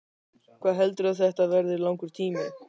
Hvað heldurðu að þetta verði langur tími?